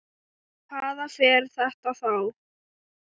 Í hvað fer þetta þá?